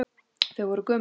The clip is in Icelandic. Þau voru gömul.